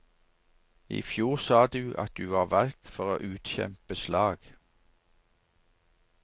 I fjor sa du at du var valgt for å utkjempe slag.